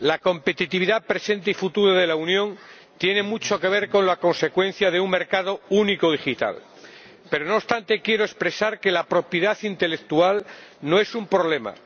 Señor Presidente, la competitividad presente y futura de la Unión tiene mucho que ver con la consecución de un mercado único digital, pero, no obstante, quiero expresar que la propiedad intelectual no es un problema.